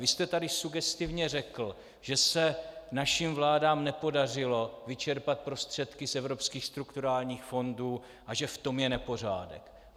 Vy jste tady sugestivně řekl, že se našim vládám nepodařilo vyčerpat prostředky z evropských strukturálních fondů a že v tom je nepořádek.